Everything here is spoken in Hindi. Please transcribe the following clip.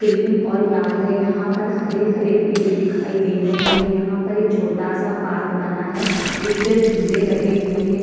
क्रीम और लाल है यहाँ पर हरे-हरे पेड़ दिखाई दे रहे है यहाँ पर एक छोटा-सा पार्क बना है जिसपे झूले लगे हुए है ।